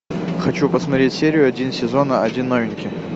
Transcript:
хочу посмотреть серию один сезона один новенький